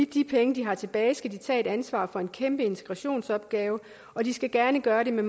de penge de har tilbage skal de tage ansvaret for en kæmpe integrationsopgave og de skal gerne gøre det med